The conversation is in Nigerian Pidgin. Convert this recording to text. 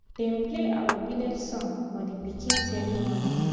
dem play our village song for the pikin ceremony